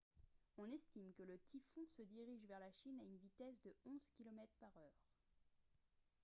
on estime que le typhon se dirige vers la chine à une vitesse de 11 km/h